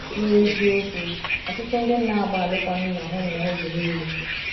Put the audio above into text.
na eziokwu, ọtụtụ ndi nna agba alụkwaghim na ahụ ụmụ ha oge niile